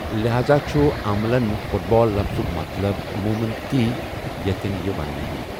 لہاذا چُھ عملن 'فُٹ بال' لَفظُک مَطلَب عٔموٗمَن تی یتین یہِ وننہٕ یی ۔